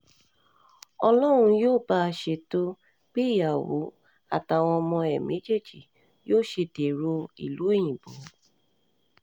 ó lóun yóò bá um a ṣètò bí ìyàwó àtàwọn ọmọ ẹ̀ méjèèjì yóò ṣe um dèrò ìlú òyìnbó